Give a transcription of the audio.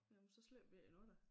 Jamen så slipper vi ikke endnu da